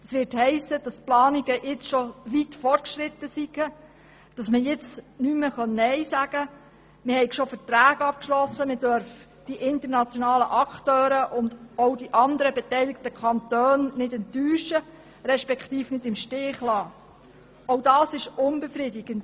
Es wird heissen, dass die Planung schon weit fortgeschritten sei, dass man jetzt nicht mehr nein sagen könne und man die internationalen Akteure sowie die anderen beteiligten Kantone nicht enttäuschen, respektive im Stich lassen dürfe.